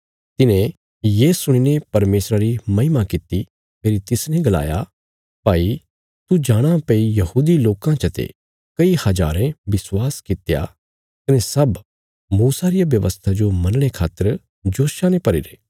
तिन्हें ये सुणीने परमेशरा री महिमा कित्ती फेरी तिसने गलाया भाई तू जाणाँ भई यहूदी लोकां चते कई हजारें विश्वास कित्या कने सब मूसा रिया व्यवस्था जो मनणे खातर जोशा ने भरीरे